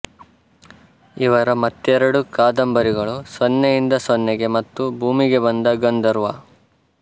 ಇವರ ಮತ್ತೆರಡು ಕಾದಂಬರಿಗಳು ಸೊನ್ನೆಯಿಂದ ಸೊನ್ನೆಗೆ ಮತ್ತು ಭೂಮಿಗೆ ಬಂದ ಗಂಧರ್ವ